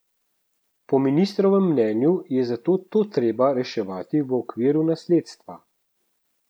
Po ministrovem mnenju je zato to treba reševati v okviru nasledstva.